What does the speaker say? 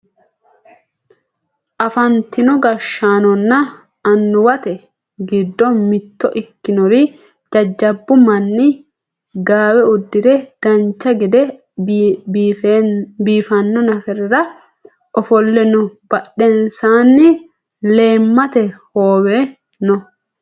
afantino gashshaanonna annuwate giddo mitto ikkinori jajjabbu manni gaawe uddire dancha gede biifanno nafarira ofolle no badhensaanni leemmate hoowe no